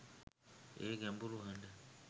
ඒ ගැඹුරු හඬ